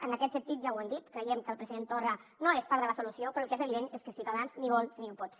en aquest sentit ja ho hem dit creiem que el president torra no és part de la solució però el que és evident és que ciutadans ni vol ni ho pot ser